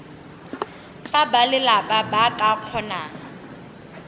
fa balelapa ba ka kgonang